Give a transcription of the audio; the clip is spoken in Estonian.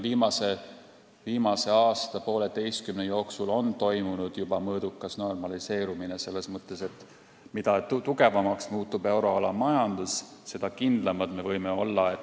Viimase aasta-poolteise jooksul on toimunud juba mõõdukas normaliseerumine, selles mõttes, et mida tugevamaks muutub euroala majandus, seda kindlamad me võime olla.